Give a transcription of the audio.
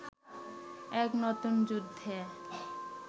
এক নতুন যুদ্ধে